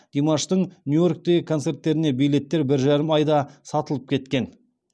димаштың нью йорктегі концерттеріне билеттер бір жарым айда сатылып кеткен